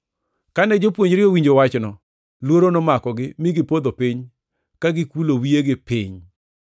Kane jopuonjre owinjo wachno, luoro nomakogi mi gipodho piny ka gikulo wiyegi piny.